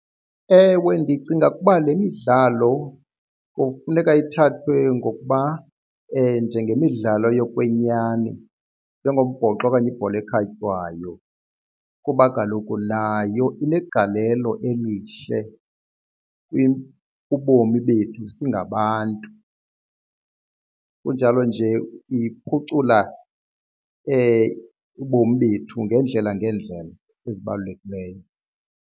Ewe, ndicinga ukuba le midlalo kufuneka ithathwe ngokuba njengemidlalo yokwenyani njengombhoxo okanye ibhola ekhatywayo kuba kaloku nayo inegalelo elihle kubomi bethu singabantu. Kunjalo nje iphucula ubomi bethu ngeendlela ngeendlela ezibalulekileyo.